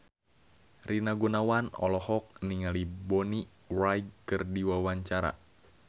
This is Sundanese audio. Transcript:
Rina Gunawan olohok ningali Bonnie Wright keur diwawancara